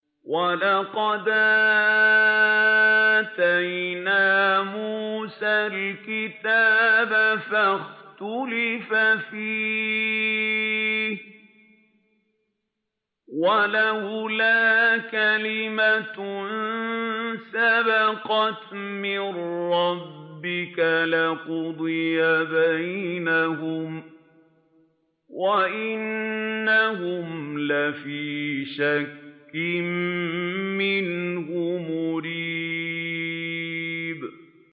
وَلَقَدْ آتَيْنَا مُوسَى الْكِتَابَ فَاخْتُلِفَ فِيهِ ۚ وَلَوْلَا كَلِمَةٌ سَبَقَتْ مِن رَّبِّكَ لَقُضِيَ بَيْنَهُمْ ۚ وَإِنَّهُمْ لَفِي شَكٍّ مِّنْهُ مُرِيبٍ